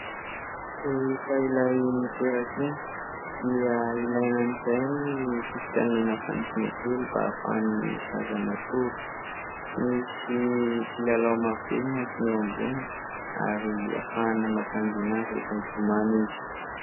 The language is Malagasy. Rehefa ilay miteraka iny dia ilaina amin'izay ny fividianana fandriana kely mba ahafahan'ny zaza matory, misy kilalao maro be mihantona eo amboniny ary ahafahana mampangiana azy rehefa mitomany izy.